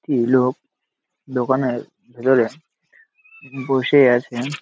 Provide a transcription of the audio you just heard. টি লোক দোকানের ভিতরে বসে আছে।